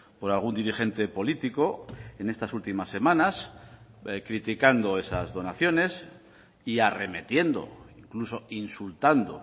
por algún dirigente político en estas últimas semanas criticando esas donaciones y arremetiendo incluso insultando